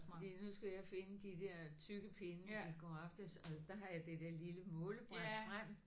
Fordi nu skulle jeg finde de der tykke pinde i går aftes og der har jeg det der lille målebræt frem